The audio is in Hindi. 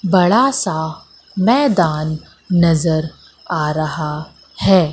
बड़ा सा मैदान नजर आ रहा है।